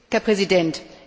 Herr Präsident!